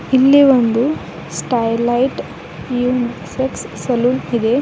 ಇಲ್ಲಿ ಒಂದು Stylite unisex salon ಇದೆ.